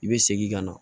I bɛ segin ka na